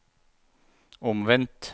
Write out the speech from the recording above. omvendt